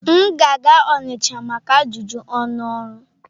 M ga-aga Onitcha maka ajụjụ ọnụ ọrụ.